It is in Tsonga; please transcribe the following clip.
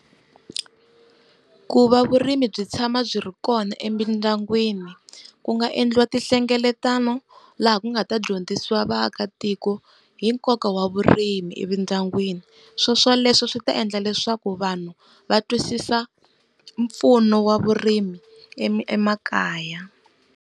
Ku va vurimi byi tshama byi ri kona emindyangwini ku nga endliwa tinhlengeletano, laha ku nga ta dyondzisiwa vaakatiko hi nkoka wa vurimi emindyangwini. Swo swoleswo swi ta endla leswaku vanhu va twisisa mpfuno wa vurimi ema emakaya.